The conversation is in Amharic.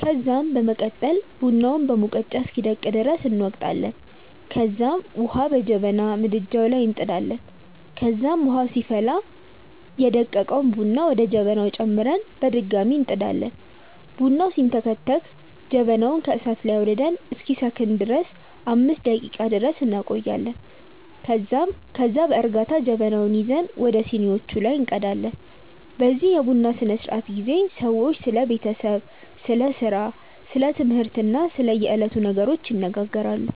ከዛም በመቀጠል ቡናውን በሙቀጫ እስኪደቅ ድረስ እንወቅጣለንከዛም ዉሀ በጀበና ምድጃዉ ላይ እንጥዳለን ከዛም ዉሀዉ ሲፈላ ደቀቀዉን ቡና ወደ ጀበናዉ ጨምረን በድጋሚ እንጥዳለን። ቡናዉ ሲንተከተክ ጀበናዉን ከእሳት ላይ አዉርደን እስኪሰክን ድረስ 5 ደቄቃ ድረስ እንቆያለን ከዛም ከዛ በእርጋታ ጀበናዉን ይዘን ወደ ሲኒዋቹ ላይ እንቀዳለን። በዚህ የቡና ስነስርዓት ጊዜ ሰዎች ስለ ቤተሰብ፣ ስለ ስራ፣ ስለ ትምህርት እና ስለ የዕለቱ ነገሮች ይነጋገራሉ።